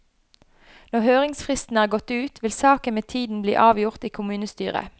Når høringsfristen er gått ut, vil saken med tiden bli avgjort i kommunestyret.